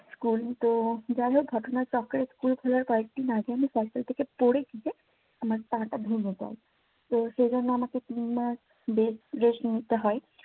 School তো যাই হোক ঘটনা চক্রে স্কুল খোলার কয়েকদিন আগের আমি সাইকেল থেকে পরে গিয়ে আমার পা টা ভেঙ্গে যায় তো সে জন্য আমাকে তিন মাস bed rest নিতে হয়।